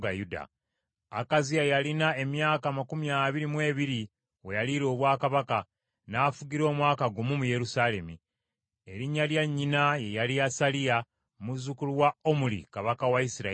Akaziya yalina emyaka amakumi abiri mu ebiri we yaliira obwakabaka, n’afugira omwaka gumu mu Yerusaalemi. Erinnya lya nnyina ye yali Asaliya , muzzukulu wa Omuli kabaka wa Isirayiri.